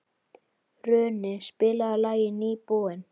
Runi, spilaðu lagið „Nýbúinn“.